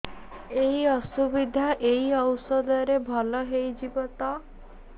ଏଇ ଅସୁବିଧା ଏଇ ଔଷଧ ରେ ଭଲ ହେଇଯିବ ତ